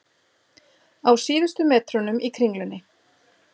Á síðustu metrunum í Kringlunni